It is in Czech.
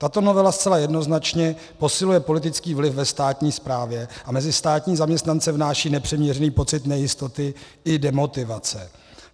Tato novela zcela jednoznačně posiluje politický vliv ve státní správě a mezi státní zaměstnance vnáší nepřiměřený pocit nejistoty i demotivace.